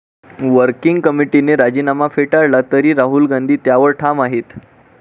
Working कमिटीने राजीनामा फेटाळला तरी राहुल गांधी त्यावर ठाम आहेत.